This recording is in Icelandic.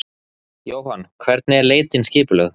Jóhann: Hvernig er leitin skipulögð?